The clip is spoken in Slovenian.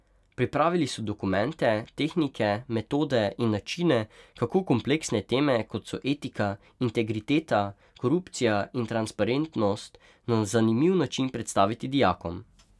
Pripravili so dokumente, tehnike, metode in načine, kako kompleksne teme, kot so etika, integriteta, korupcija in transparentnost na zanimiv način predstaviti dijakom.